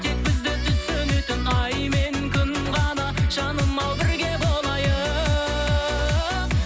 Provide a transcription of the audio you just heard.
тек бізді түсінетін ай мен күн ғана жаным ау бірге болайық